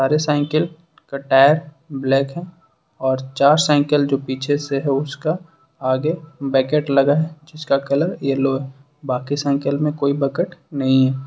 सारे cycle tyre black है और चार साइकिल जो पीछे से है उसका आगे बकेट लगा जीसका कलर येलो बाकी साइकिल में कोई बकेट नहीं है।